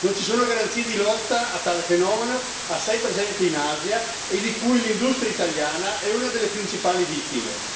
Non ci sono garanzie di lotta a tale fenomeno, assai presente in Asia, e di cui l'industria italiana è una delle principali vittime.